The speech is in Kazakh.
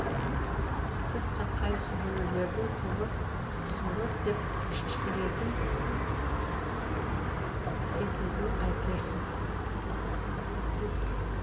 тіпті қайсыбіреулердің курорт сурорт деп ішкертін кететінін қайтерсің